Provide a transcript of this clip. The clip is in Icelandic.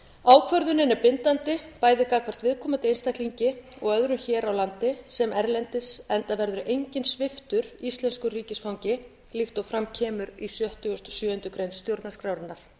ákvörðunin er bindandi bæði gagnvart viðkomandi einstaklingi og öðrum hér á landi sem erlendis enda verður enginn sviptur íslensku ríkisfangi líkt og fram kemur í sextugasta og sjöttu grein stjórnarskrárinnar